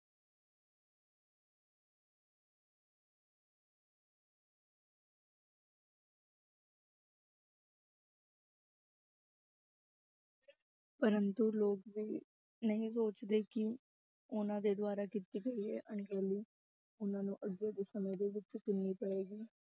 ਪ੍ਰੰਤੂ ਲੋਕ ਵੀ ਨਹੀਂ ਸੋਚਦੇ ਕਿ ਉਹਨਾਂ ਦੇ ਦੁਆਰਾ ਕੀਤੀ ਗਈ ਇਹ ਅਣਗਹਿਲੀ, ਉਹਨਾਂ ਨੂੰ ਅੱਗੇ ਦੇ ਸਮੇਂ ਦੇ ਵਿੱਚ ਪਏਗੀ।